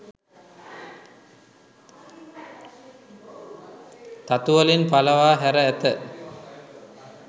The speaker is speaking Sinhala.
තතුවලින් පළවා හැර ඇත